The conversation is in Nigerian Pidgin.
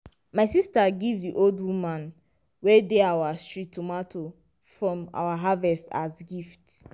my sister give the old woman wey dey our street tomato from our harvest as gift.